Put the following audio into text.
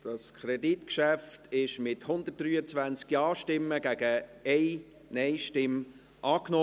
Das Kreditgeschäft wurde mit 123 Ja-Stimmen gegen 1 Nein-Stimme angenommen.